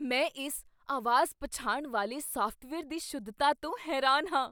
ਮੈਂ ਇਸ ਅਵਾਜ਼ ਪਛਾਣ ਵਾਲੇ ਸਾਫਟਵੇਅਰ ਦੀ ਸ਼ੁੱਧਤਾ ਤੋਂ ਹੈਰਾਨ ਹਾਂ।